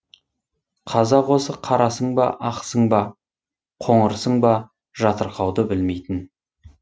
қазақ осы қарасың ба ақсың ба қоңырсың ба жатырқауды білмейтін